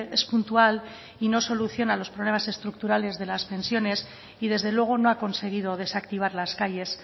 es puntual y no soluciona los problemas estructurales de las pensiones y desde luego no ha conseguido desactivar las calles